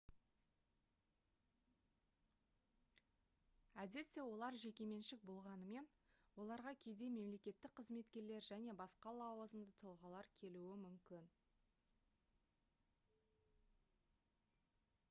әдетте олар жекеменшік болғанымен оларға кейде мемлекеттік қызметкерлер және басқа лауазымды тұлғалар келуі мүмкін